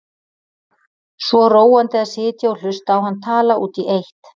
Svo róandi að sitja og hlusta á hann tala út í eitt.